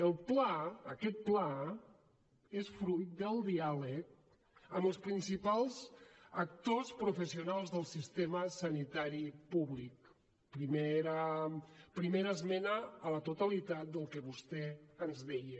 el pla aquest pla és fruit del diàleg amb els principals actors professionals del sistema sanitari públic primera esmena a la totalitat del que vostè ens deia